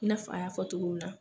I n'a fɔ a y'a fɔ togo min na